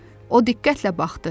O diqqətlə baxdı.